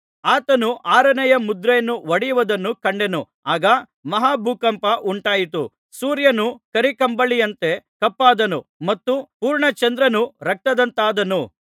ಆತನು ಆರನೆಯ ಮುದ್ರೆಯನ್ನು ಒಡೆಯುವುದನ್ನು ಕಂಡೆನು ಆಗ ಮಹಾಭೂಕಂಪ ಉಂಟಾಯಿತು ಸೂರ್ಯನು ಕರೀಕಂಬಳಿಯಂತೆ ಕಪ್ಪಾದನು ಮತ್ತು ಪೂರ್ಣಚಂದ್ರನು ರಕ್ತದಂತಾದನು